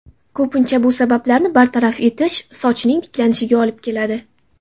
Ko‘pincha, bu sabablarni bartaraf etish sochning tiklanishiga olib keladi.